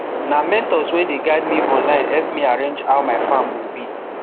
na mentors wey dey guide me online help me arrange how my farm go be